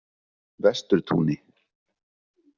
Vesturtúni